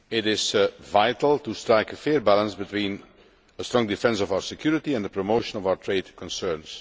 It is vital to strike a fair balance between a strong defence of our security and the promotion of our trade concerns.